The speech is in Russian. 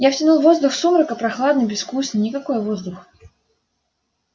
я втянул воздух сумрака прохладный безвкусный никакой воздух